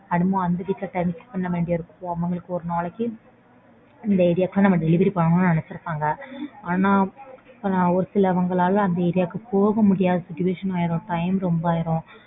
அது time adjust பண்ண வேண்டிருக்கும். அவங்களுக்கு ஒரு நாளைக்கு அந்த area க்கு delivery பண்ணனும்னு நினைச்சுருப்பாங்க. ஆனா ஒரு சிலவங்கனால அந்த area க்கு போக முடியாத situation ஆயிடும். Time ரொம்ப ஆயிடும்.